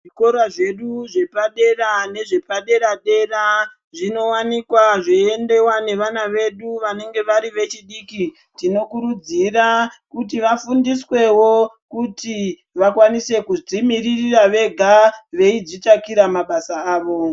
Zvikora zvedu zvepadera nezvepadera dera zvinowanikwa zveiendewa nevana vedu vanenge vari vechidiki. Tinokurudzira kuti vafundiswewo kuti vakwanise kudzimiririra vega veidzitsvakira mabasa avo.